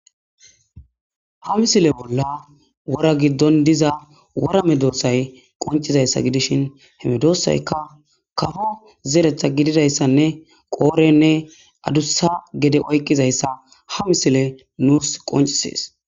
Ha missile bolla wora gidon diza worra medossay qonccidayissa gidishshin medosayikka kawo zerethth gididayissanne qorenne adussa gididayissa ha missily nus qoncciside besses